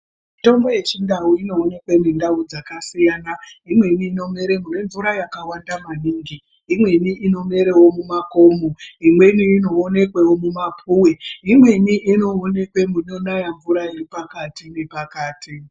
Mitombo yechindau inoonekwe mundau dzakasiyana. Imweni inomere kune mvura maningi, imweni inomerewo mumakomo, imweni inoonekwewo mumapuwe, imweni inoonekwe munonaya mvura iri pakati nepakati.